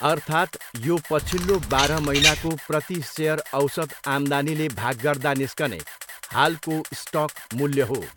अर्थात् यो पछिल्लो बाह्र महिनाको प्रति सेयर औसत आम्दानीले भाग गर्दा निस्कने हालको स्टक मूल्य हो।